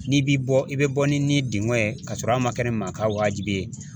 N'i bi bɔ i bɛ bɔ ni dengɔn ye, ka sɔrɔ a ma kɛ ni maa kan waajibi ye.